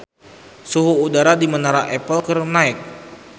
Suhu udara di Menara Eiffel keur naek